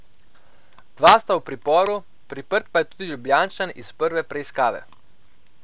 Dva sta v priporu, priprt pa je tudi Ljubljančan iz prve preiskave.